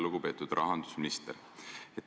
Lugupeetud rahandusminister!